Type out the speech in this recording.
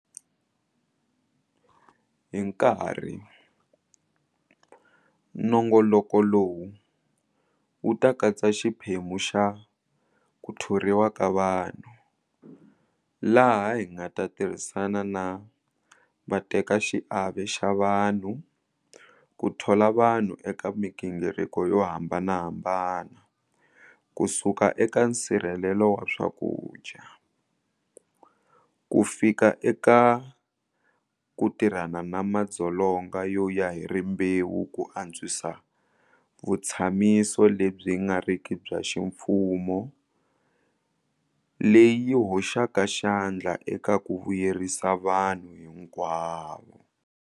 Hi nkarhi, nongoloko lowu wu ta katsa xiphemu xa 'ku thoriwa ka vanhu', laha hi nga ta tirhisana na vatekaxiave xa vanhu ku thola vanhu eka migingiriko yo hambanahambana kusuka eka nsirhelelo wa swakudya, kufika eka ku tirhana na madzolonga yo ya hi rimbewu ku antswisa vutshamiso lebyi nga riki bya ximfumo leyi yi hoxaka xandla eka ku vuyerisa vanhu hinkwavo.